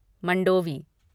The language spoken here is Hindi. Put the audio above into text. मंडोवी